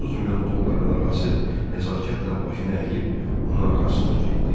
30 milyon dollara nağası nəzakətlə başını əyib onun arxasınca getdi.